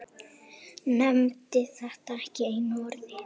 Nefndi þetta ekki einu orði.